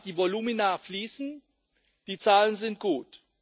Ja, die Volumina fließen, die Zahlen sind gut.